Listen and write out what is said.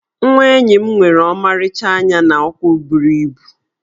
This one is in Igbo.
Nwa enyi m nwere ọmarịcha anya na ụkwụ buru ibu.